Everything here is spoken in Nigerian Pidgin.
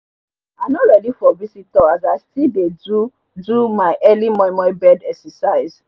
i nor readi for visitor as i still dey do do my early momo bed exercise